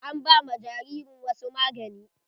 An ba ma jaririn wasu magani.